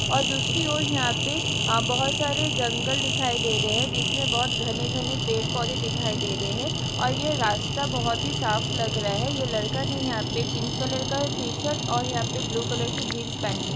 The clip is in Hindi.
और दूसरी और अ यहाँ पे बहुत सारे जंगल दिखाई दे रहे हैं जिसमें बहुत घने घने पेड़ पौधे दिखाई दे रहे हैं और ये रस्ता बहुत ही साफ लग रहा है ये लड़का ने यहाँ पे पिंक कलर का टी शर्ट और यहाँ पे ब्लू कलर की जींस पहनी है।